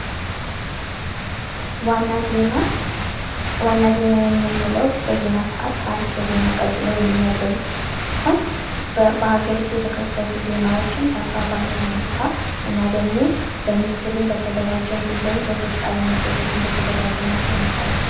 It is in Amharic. ዋና ዜና ዋና ዜና የምንለው በዜና ሰአት ከአርዕስተ ዜና ቀጥሎ የሚመደብ ሲሆን በሀገሪቱ የተከሰቱ ዜናዎችን ሰፋ ባለ ሁኔታ እና ደግሞ ሰፋ ባለ ሁኔታ በምስልም በተደራጀ እንድሁም ደግሞ በሰዎች ቃለ መጠይቅ በተደራጀ መልኩ የሚቀርብ